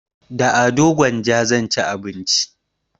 Da ado gwanja zan ci abinci